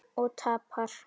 Og tapar.